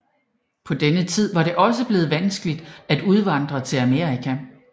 På denne tid var det også blevet vanskeligt at udvandre til Amerika